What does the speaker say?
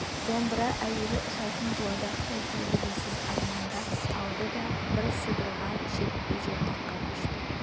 домбыра әуелі ұшатын дуадақтай ебедейсіз армандап алды да бір сыдырғы шертпе жортаққа көшті